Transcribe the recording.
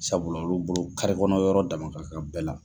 Sabula olu bolo kari kɔnɔ yɔrɔ dama ka kan bɛɛ la.